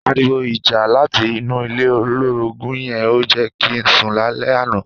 Àriwó ijà làtí inú ilé ólórógùn yèn ó jè ki n sún làlè ànã